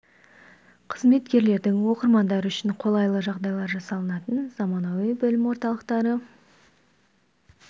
қызметкерлердің оқырмандары үшін қолайлы жағдайлар жасалынатын заманауи білім орталықтары